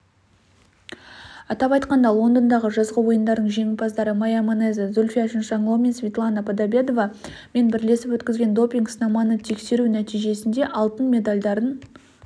атап айтқанда лондондағы жазғы ойындардың жеңімпаздары майя манеза зульфия чиншанло мен светлана подобедова мен бірлесіп өткізген допинг-сынаманы тексеру нәтижесінде алтын медальдарын